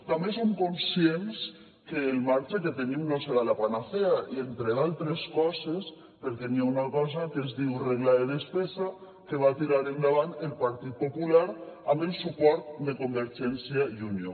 també som conscients que el marge que tenim no serà la panacea entre d’altres coses perquè hi ha una cosa que es diu regla de despesa que va tirar endavant el partit popular amb el suport de convergència i unió